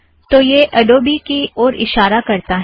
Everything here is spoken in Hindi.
तो यह अड़ोबी की ओर इशारा करता है